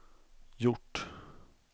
gjort